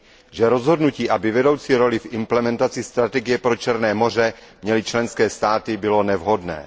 že rozhodnutí, aby vedoucí roli v implementaci strategie pro Černé moře měly členské státy, bylo nevhodné.